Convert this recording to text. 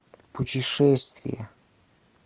путешествие